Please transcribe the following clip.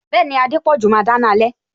Bẹẹni, Adepoju máa dáná alẹ